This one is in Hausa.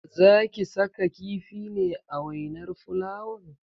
Zaki saka kifi ne a wainar fulawan?